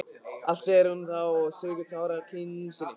Allt, segir hún þá og strýkur tár af kinn sinni.